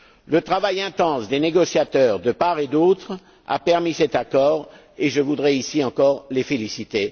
Le travail intense des négociateurs, de part et d'autre, a permis cet accord et je voudrais, ici, encore les féliciter.